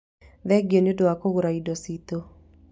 Thengio nĩ ũndũ wa kũgũra indo citũ